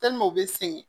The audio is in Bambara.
u bɛ sɛgɛn